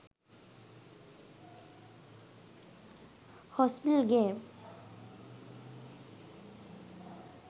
hospital games